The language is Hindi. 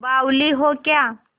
बावली हो क्या